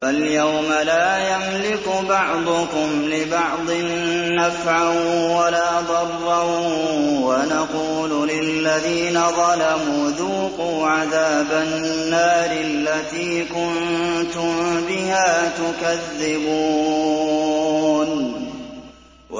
فَالْيَوْمَ لَا يَمْلِكُ بَعْضُكُمْ لِبَعْضٍ نَّفْعًا وَلَا ضَرًّا وَنَقُولُ لِلَّذِينَ ظَلَمُوا ذُوقُوا عَذَابَ النَّارِ الَّتِي كُنتُم بِهَا تُكَذِّبُونَ